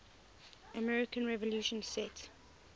american revolution set